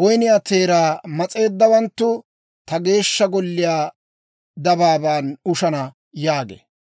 woyniyaa teeraa mas'eeddawanttu ta Geeshsha Golliyaa dabaaban ushana» yaagee.